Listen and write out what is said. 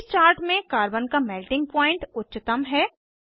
इस चार्ट में कार्बन का मेल्टिंग पॉइंट उच्चतम है